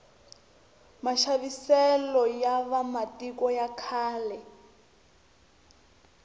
maxaviselo ya va matiko ya khale